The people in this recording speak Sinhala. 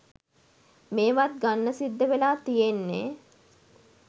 මේවත් ගන්න සිද්ධවෙලා තියෙන්නෙ.